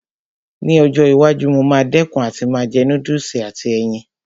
Ní ọjọ́ iwájú, mo máa dẹ̀kun àti máa jẹ núdùsì àti ẹyin